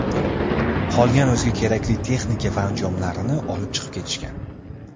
Qolgan o‘ziga kerakli texnika va anjomlarini olib chiqib ketishgan.